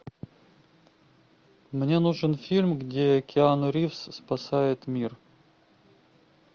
мне нужен фильм где киану ривз спасает мир